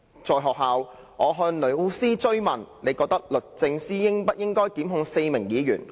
在學校，我向老師追問：'你覺得律政司應不應該檢控4名議員？